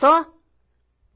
Só.